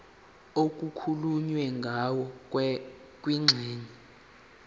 okukhulunywe ngayo kwingxenye